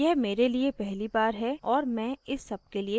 यह मेरे लिए पहली बार है और मैं इस सबके लिए नयी हूँ